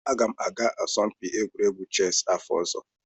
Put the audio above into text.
Aga m aga asọmpi egwuregwu chessị n'afọ ọzọ.